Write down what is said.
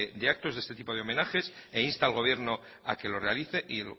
de actos de este tipo de homenajes e insta al gobierno a que lo realice y